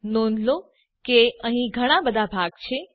નોંધ લો કે અહીં ઘણા બધા ભાગ છે